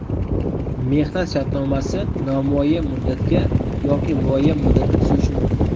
Mehnat shartnomasi nomuayyan muddatga yoki muayyan muddatga tuzilishi mumkin.